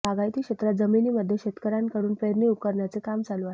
बागायती क्षेत्रात जमिनी मध्ये शेतकयांकडून पेरणी उरकण्याचे काम चालू आहे